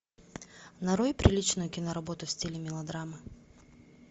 нарой приличную киноработу в стиле мелодрамы